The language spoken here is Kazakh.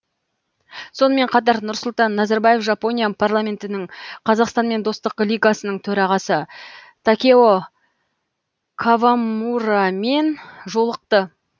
сонымен қатар нұрсұлтан назарбаев жапония парламентінің қазақстанмен достық лигасының төрағасы такео кавамурамен жолықты